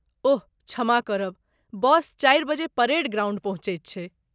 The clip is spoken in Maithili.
ओह क्षमा करब, बस चारि बजे परेड ग्राउण्ड पहुँचैत छै।